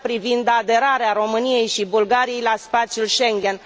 privind aderarea României și Bulgariei la spațiul Schengen.